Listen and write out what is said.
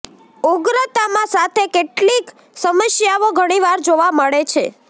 ઉગ્રતામાં સાથે કેટલીક સમસ્યાઓ ઘણી વાર જોવા મળે છે